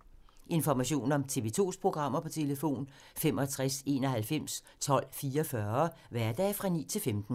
Information om TV 2's programmer: 65 91 12 44, hverdage 9-15.